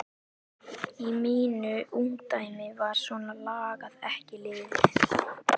Í mínu ungdæmi var svona lagað ekki liðið.